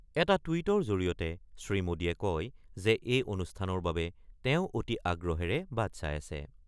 এটা টুইটৰ জৰিয়তে শ্ৰীমোডীয়ে কয় যে এই অনুষ্ঠানৰ বাবে তেওঁ অতি আগ্ৰহেৰে বাট চাই আছে৷